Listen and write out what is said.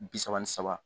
Bi saba ni saba